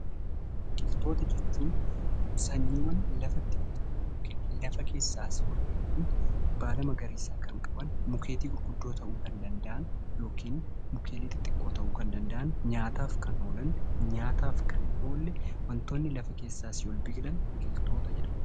Biqiltoota jechuun sanyiiwwan lafa keessaa asii ol bahuun halluu magariisa qaban mukkeen gurguddoo kan ta'uu danda'an yookiin mukkeen xixiqqoo ta'uu kan danda'an nyaataaf kan oolanidha.